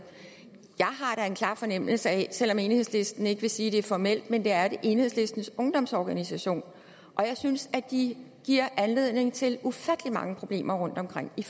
jeg en klar fornemmelse af at selv om enhedslisten ikke vil sige det formelt er det enhedslistens ungdomsorganisation og jeg synes at de giver anledning til ufattelig mange problemer rundtomkring de